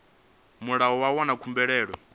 murahu ha u wana khumbelo